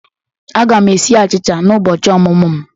Aga m esi achicha na ụbọchị ọmụmụ m.